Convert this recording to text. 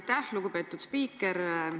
Aitäh, lugupeetud spiiker!